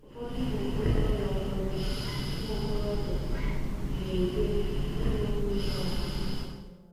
Ụfọdụ ụmụ okorobịa Ụfọdụ ụmụ okorobịa na-ekwe ịlụ nne nwa ha.